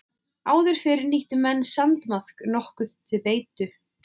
Áður fyrr nýttu menn sandmaðk nokkuð til beitu.